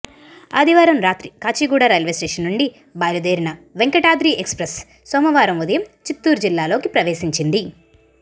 ఆదివారం రాత్రి Kachiguda railway station నుంచి బయలుదేరిన వెంకటాద్రి ఎక్స్ప్రెస్ సోమవారం ఉదయం చిత్తూరు జిల్లాలోకి ప్రవేశించింది